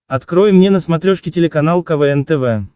открой мне на смотрешке телеканал квн тв